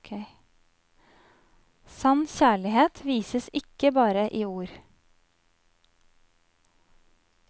Sann kjærlighet vises ikke bare i ord.